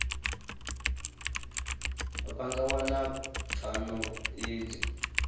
vha nga wana pfano idzi